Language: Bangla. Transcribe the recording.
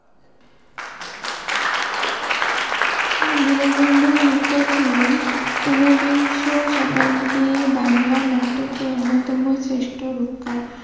দীনবন্ধু মিত্র ছিলের ঊনবিংশ শতাব্দির বাংলা নাটকের অন্যতম শ্রেষ্ট রূপকার।